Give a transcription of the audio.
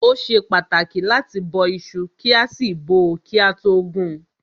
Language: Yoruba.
Ó ṣe pàtàkì láti bó iṣu kí a sì bọ́ọ́ kí a tó gun.